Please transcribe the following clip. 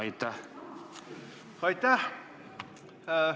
Aitäh!